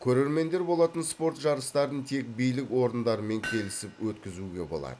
көрермендер болатын спорт жарыстарын тек билік орындарымен келісіп өткізуге болады